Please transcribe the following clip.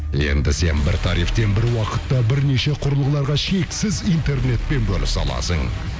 енді сен бір тарифтен бір уақытта бірнеше құрылғыларға шексіз интернетпен бөлісе аласың